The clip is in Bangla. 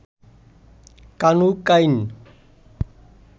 কানু কাইন